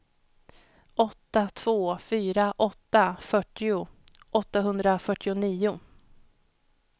åtta två fyra åtta fyrtio åttahundrafyrtionio